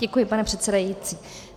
Děkuji, pane předsedající.